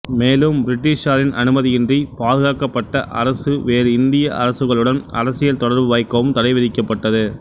மேலும் பிரிட்டிஷாரின் அனுமதியின்றி பாதுகாக்கப்பட்ட அரசு வேறு இந்திய அரசுகளுடனும் அரசியல் தொடர்பு வைக்கவும் தடை விதிக்கப்பட்டது